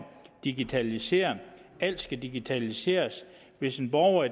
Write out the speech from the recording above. digitalisere alt skal digitaliseres hvis en borger